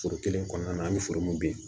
Foro kelen kɔnɔna na an bɛ foro mun bin